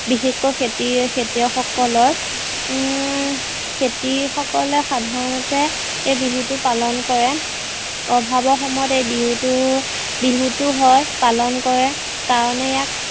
বিশেষকৈ খেতি খেতিয়ক সকলৰ হম খেতি সকলে সাধাৰণতে এই বিহুতো পালন কৰে। অভাৱৰ সময়ত এই বিহুটো বিহুটো হয় পালন কৰে কাৰণে ইয়াক